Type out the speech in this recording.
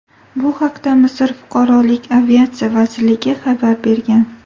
Bu haqda Misr fuqarolik aviatsiyasi vazirligi xabar bergan .